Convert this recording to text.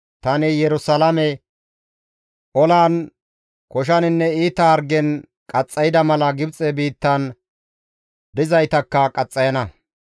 Tani Yerusalaame olan, koshaninne iita hargen qaxxayda mala Gibxe biittan dizaytakka qaxxayana.